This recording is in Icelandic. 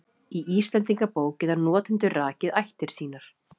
Í Íslendingabók geta notendur rakið ættir sínar.